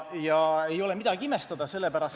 Ja ei ole midagi imestada, sellepärast et ...